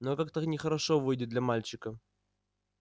но как-то нехорошо выйдет для мальчика